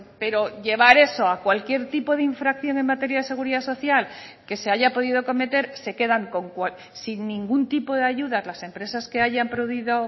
pero llevar eso a cualquier tipo de infracción en materia de seguridad social que se haya podido cometer se quedan sin ningún tipo de ayudas las empresas que hayan podido